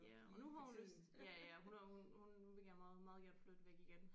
Ja og nu har hun lyst ja ja hun har hun hun hun vil gerne meget meget gerne flytte væk igen